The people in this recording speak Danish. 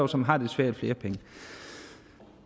som har det svært flere penge det